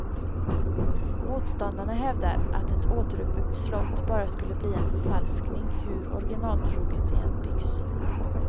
Motståndarna hävdar, att ett återuppbyggt slott bara skulle bli en förfalskning, hur orginaltroget det än byggs.